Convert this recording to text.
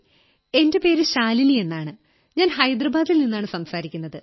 എന്റെ പേര് ശാലിനിയെന്നാണ് ഞാൻ ഹൈദരാബാദിൽ നിന്നാണ് സംസാരിക്കുന്നത്